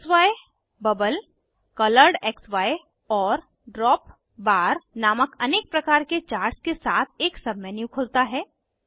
क्सी bubble कोलोरेडक्सी और drop bar नामक अनेक प्रकार के चार्ट्स के साथ एक सबमेन्यू खुलता है